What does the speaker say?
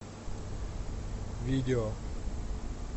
видео